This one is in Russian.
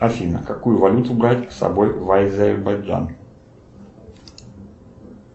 афина какую валюту брать с собой в азербайджан